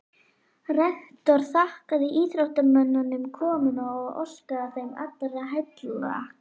Rektor þakkaði íþróttamönnum komuna og óskaði þeim allra heilla.